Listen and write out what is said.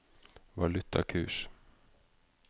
valutakurs